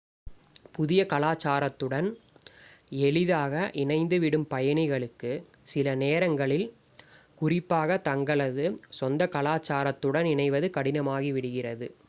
புதிய கலாச்சாரத்துடன் எளிதாக இணைந்துவிடும் பயணிகளுக்கு சிலநேரங்களில் குறிப்பாக தங்களது சொந்த கலாச்சாரத்துடன் இணைவது கடினமாகிவிடுகிறது